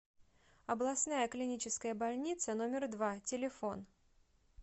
областная клиническая больница номер два телефон